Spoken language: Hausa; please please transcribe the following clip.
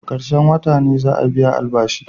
Karshen wota ne za'a biya albashi.